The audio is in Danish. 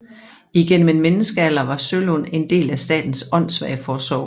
Igennem en menneskealder var Sølund en del af Statens Åndsvageforsorg